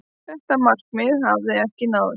Þetta markmið hafi ekki náðst.